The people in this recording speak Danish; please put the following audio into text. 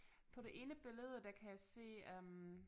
På det ene billede der kan jeg se øh